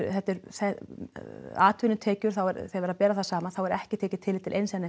þetta eru atvinnutekjur þegar það er verið að bera það saman þá er ekki tekið tillit til eins eða neins